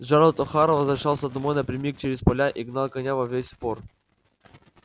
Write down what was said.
джералд охара возвращался домой напрямик через поля и гнал коня во весь опор